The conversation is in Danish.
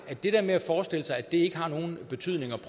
at det der med at forestille sig at det ikke har nogen betydning